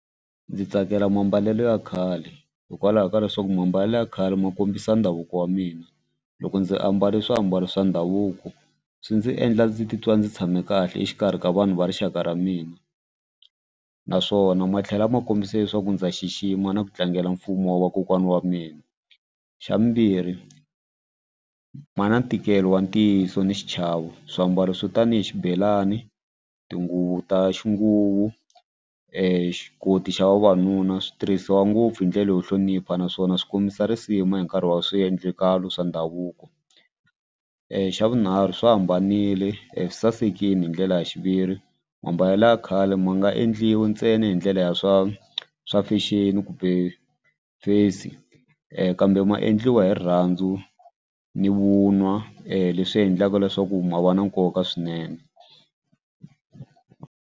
Ndzi tsakela mambalelo ya khale hikwalaho ka leswaku mambalelo ya khale ma kombisa ndhavuko wa mina loko ndzi ambale swiambalo swa ndhavuko swi ndzi endla ndzi titwa ndzi tshame kahle exikarhi ka vanhu va rixaka ra mina naswona ma tlhela ma kombisa leswaku ndza xixima na ku tlangela mfumo wa kokwana wa mina. Xa vumbirhi ma na ntikelo wa ntiyiso ni xichavo swiambalo swo tanihi xibelani tinguvu ta xinguvu xa vavanuna swi tirhisiwa ngopfu hi ndlela yo hlonipha naswona swi kombisa risima hi nkarhi wa swiendlakalo swa ndhavuko. Xa vunharhu swi hambanile sasekini hi ndlela ya xiviri mambalelo ya khale ma nga endliwi ntsena hi ndlela ya swa swa fexeni kumbe face kambe ma endliwa hi rirhandzu ni vunwa leswi endlaka leswaku ma va na nkoka swinene.